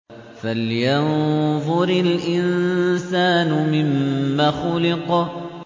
فَلْيَنظُرِ الْإِنسَانُ مِمَّ خُلِقَ